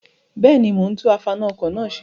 Bẹ́ẹ̀ni, mo ń tún afaná-ọkọ̀ náà ṣe.